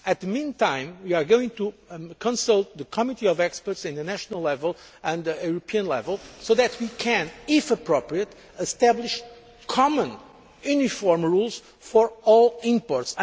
In the meantime we are going to consult the committee of experts at national level and at European level so that we can, if appropriate, establish common uniform rules for all imports.